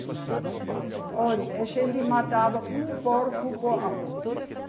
Que na Alemanha tem muita. Olhe, a gente matava um porco por ano.